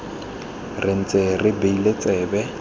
re ntse re beile tsebe